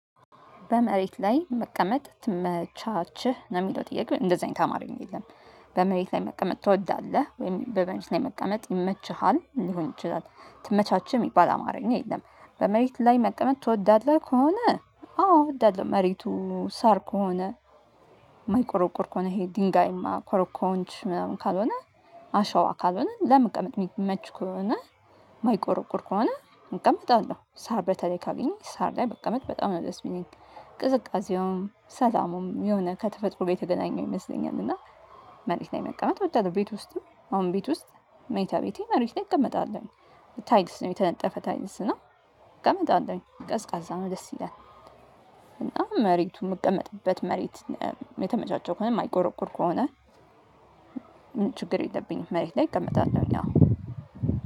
በመሬት ላይ መቀመጥ ትመቻችህ? ነው የሚለው ጥያቄ። እንደዚህ አይነት አማርኛ የለም። በመሬት ላይ መቀመጥ ትወዳለህ? ወይም በመሬት ላይ መቀመጥ ይመችሃል? ሊሆን ይችላል ትመቻችህ የሚባል አማርኛ የለም። በመሬት ላይ መቀመጥ ትወዳለህ ከሆነ አዎ እወዳለሁ። መሬቱ ሳር ከሆነ የማይቆረቁር ከሆነ ይሄ ድንጋያማ ኮረኮንች ምናምን ካልሆነ አሸዋ ካልሆነ ለመቀመጥ የሚመች ከሆነ የማይቆረቁር ከሆነ እቀመጣለሁ። ሳር በተለይ ካገኘሁ ሳር ላይ በቀመጥ በጣም ነው ደስ የሚለኝ። ቅዝቃዜውም ሰላሙም የሆነ ከተፈጥሮ ጋር የተገናኘው ይመስለኛል። እና መሬት ላይ መቀመጥ እወዳለሁ። ቤት ውስጥም አሁን ቤት ውስጥ መኝታ ቤቴ መሬት ላይ እቀመጣለሁ። 'ታይግስ' ነው የተነጠፈ 'ታይግስ' ነው እቀመጣለሁለኝ። ቀዝቃዛ ነው ደስ ይላል። እና መሬቱ የምቀመጥበት መሬት የተመቻቸ ከሆነ የማይቆረቁር ከሆነ ችግር የለብኝም መሬት ላይ እቀመጣለሁኝ አዎ።